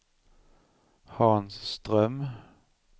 Hans Ström